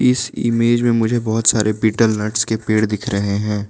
इस इमेज में मुझे बहुत सारे बीटल नट्स के पेड़ दिख रहे हैं।